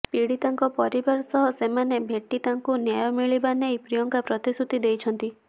ପୀଡ଼ିତାଙ୍କ ପରିବାର ସହ ସେମାନେ ଭେଟି ତାଙ୍କୁ ନ୍ୟାୟ ମିଳିବା ନେଇ ପ୍ରିୟଙ୍କା ପ୍ରତିଶ୍ରୁତି ଦେଇଛନ୍ତି